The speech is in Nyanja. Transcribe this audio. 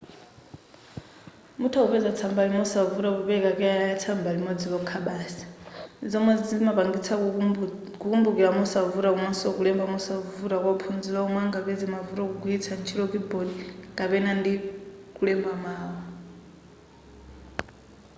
mutha kupeza tsambali mosavuta popereka keyala ya tsamba limodzi lokha basi zomwe zimapangitsa kukumbukira mosavuta komanso kulemba mosavuta kwa ophunzira omwe angapeze mavuto kugwiritsa ntchito keyboard kapena ndi kulemba mawu